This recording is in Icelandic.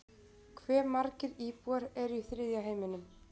hve margir íbúar eru í þriðja heiminum